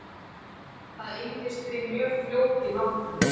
Það eyðist því mjög fljótt í náttúrunni.